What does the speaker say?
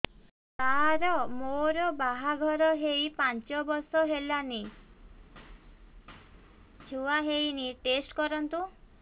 ସାର ମୋର ବାହାଘର ହେଇ ପାଞ୍ଚ ବର୍ଷ ହେଲାନି ଛୁଆ ହେଇନି ଟେଷ୍ଟ କରନ୍ତୁ